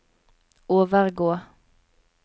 overgå